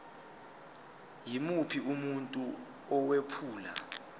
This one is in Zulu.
yimuphi umuntu owephula